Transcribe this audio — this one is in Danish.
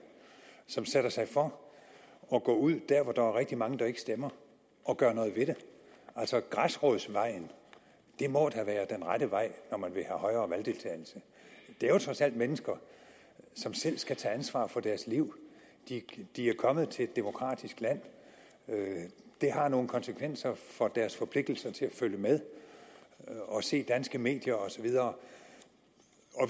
som sætter sig for at gå ud der hvor der er rigtig mange der ikke stemmer og gøre noget ved det altså græsrodsvejen må da være den rette vej når man vil have højere valgdeltagelse det er jo trods alt mennesker som selv skal tage ansvar for deres liv de er kommet til et demokratisk land og det har nogle konsekvenser for deres forpligtelse til at følge med og se danske medier og så videre